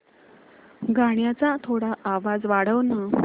गाण्याचा थोडा आवाज वाढव ना